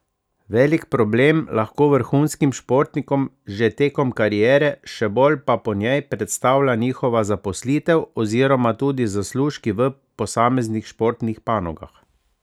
Velik problem lahko vrhunskim športnikom že tekom kariere, še bolj pa po njej predstavlja njihova zaposlitev oziroma tudi zaslužki v posameznih športnih panogah.